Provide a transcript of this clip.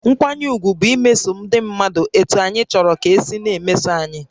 Nkwanye ùgwù bụ imeso ndị mmadụ etú anyị chọrọ ka e si na-emeso anyị